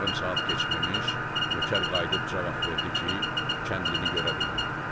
Yarım saat keçməmiş, nökər qayıdıb cavab verdi ki, kəndlini görə bilmədi.